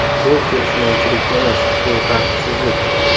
Bu kelishmovchilik emas, bu tartibsizlik.